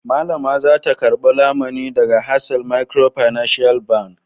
Mallama za ta karɓi lamuni daga Hasal Microfinance Bank.